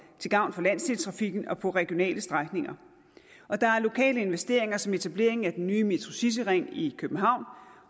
til gavn for landsdelstrafikken og på regionale strækninger og der er lokale investeringer som etablering af den nye metrocityring i københavn og